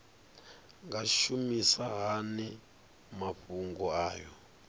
nga shumisa hani mafhumgo aya